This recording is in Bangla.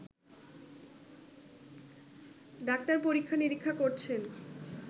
ডাক্তার পরীক্ষা-নিরীক্ষা করছেন।